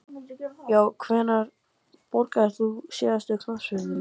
já Hvenær borgaðir þú þig síðast inn á knattspyrnuleik?